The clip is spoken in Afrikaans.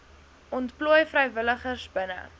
ontplooi vrywilligers binne